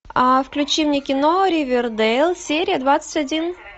а в ключи мне кино ривердейл серия двадцать один